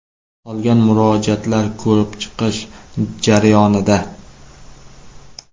Qolgan murojaatlar ko‘rib chiqish jarayonida.